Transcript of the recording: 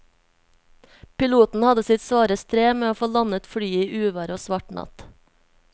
Piloten hadde sitt svare strev med å få landet flyet i uvær og svart natt.